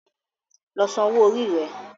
Lọ sàn owó Orí re!